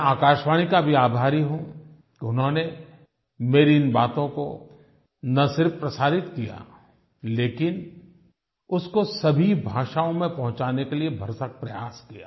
मैं आकाशवाणी का भी आभारी हूँ कि उन्होंने मेरी इन बातों को न सिर्फ प्रसारित किया लेकिन उसको सभी भाषाओं में पहुँचाने के लिए भरसक प्रयास किया